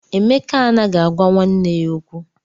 Emeka anaghị agwa nwanne ya okwu.